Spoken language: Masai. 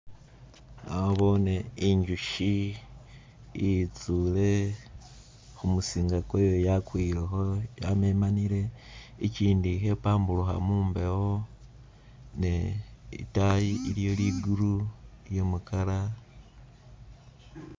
Naboone injusyi iyitsuule khumusinga kwayo yakwilekho yamemanile, ikyindi khe pamburukha mumbewo ne itayi iliyo ligulu lye mukala